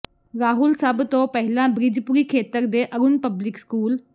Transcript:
ਰਾਹੁਲ ਸਭ ਤੋਂ ਪਹਿਲਾਂ ਬ੍ਰਿਜਪੁਰੀ ਖੇਤਰ ਦੇ ਅਰੁਣ ਪਬਲਿਕ ਸਕੂਲ